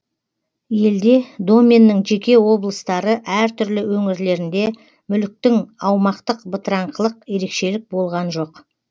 елде доменнің жеке облыстары әртүрлі өңірлерінде мүліктің аумақтық бытыраңқылық ерекшелік болған жоқ